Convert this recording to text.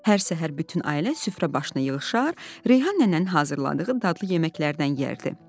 Hər səhər bütün ailə süfrə başına yığışar, Reyhan nənənin hazırladığı dadlı yeməklərdən yeyərdi.